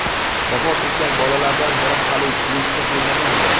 Vafot etgan bolalardan biri hali beshga to‘lmagan edi.